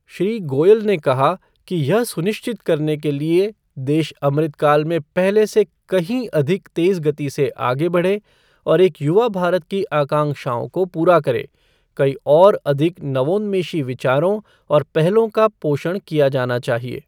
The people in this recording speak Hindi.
श्री गोयल ने कहा कि यह सुनिश्चित करने के लिए देश अमृत काल में पहले से कहीं अधिक तेज गति से आगे बढ़े और एक युवा भारत की आकांक्षओं को पूरा करे, कई और अधिक नवोन्मेषी विचारों और पहलों का पोषण किया जाना चाहिए।